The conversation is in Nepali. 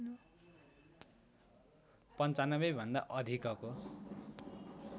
९५ भन्दा अधिकको